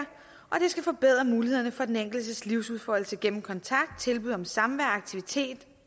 skal forbedre mulighederne for den enkeltes livsudfoldelse gennem kontakt tilbud om samvær aktivitet